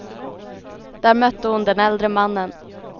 Där mötte hon den äldre mannen.